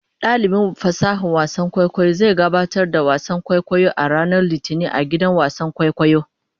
Dalibin fasahar wasan kwaikwayo zai gabatar da wasan kwaikwayo a ranar Litinin a gidan wasan kwaikwayo.